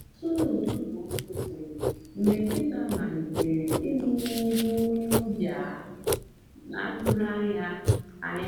usoro ụtụtụ m kwụsịrị mgbe nkịta malitere igbọ n’ihu onye ọbịa a na-atụghị anya anya ya.